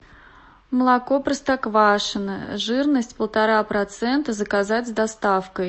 молоко простоквашино жирность полтора процента заказать с доставкой